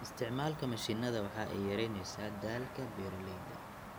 Isticmaalka mishiinada waxa ay yaraynaysaa daalka beeralayda.